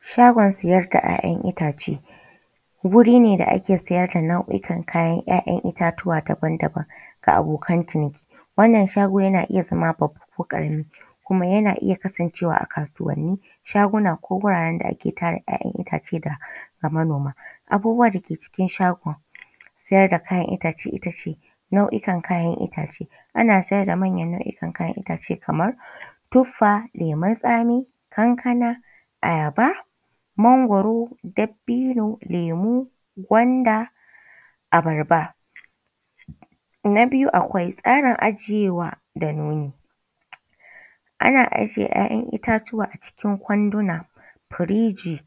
Shagon siyar da ‘ya’yan itace, wuri ne da ake siyar da nau’ikan kayan ‘ya’yan itatuwa daban-daban ga abokan ciniki, wannan shago yana iya zama babba ko ƙarami kuma yana iya kasancewa a kasuwanni, shaguna ko wuraren da ake tara ‘ya’yan itace ga manoma. Abubuwa da ke cikin shagon siyar da kayan itace ita ce nau’ikan kayan itace, ana siyar da manyan nau’ikan kayan itace kamar tuffa, lemun tsami, kankana, ayaba, mangwaro dabbino, lemu, gwanda, abarba. Na biyu akwai tsarin ajiyewa da nomi. Ana ajiye ‘ya’yan a cikin kwanduna, firiji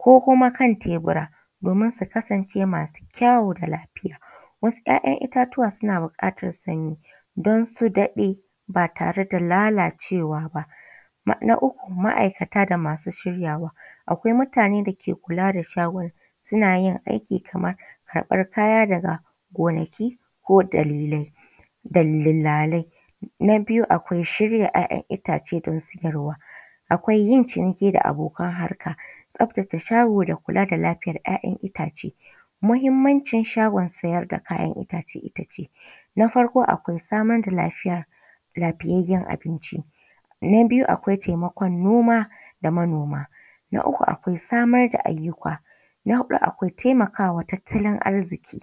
ko kuma kan tebura domin su kasance masu kyawu da lafiya. Wasu ‘ya’yan itatuwa suna buƙatar sanyi don su daɗe ba tare da lalacewa ba. Na uku ma’aikata da masu shiryawa akai mutane da ke kula da shaguna suna yin aiki kamar karɓar kaya daga gonaki ko dalilai dillalai. Na biyu akwai shirya ‘ya’yan itace don siyarwa, akwai yin ciniki da abokan harka, tsabtace shago da kula da lafiyar ‘ya’yan itace. Muhimmancin shagon siyar da kayan itace ita ce na farko akwai samar da lafiya lafiyayyen abinci, na biyu akwai taimakon noma da manoma na uku akwai samar da ayyuka, na huakwai taimakawa tattalin arziƙi.